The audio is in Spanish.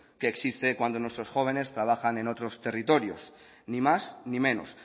que existe cuando nuestros jóvenes trabajan en otros territorios ni más ni menos